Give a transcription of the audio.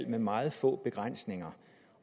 med meget få begrænsninger